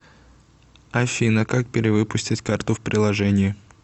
афина как перевыпустить карту в приложении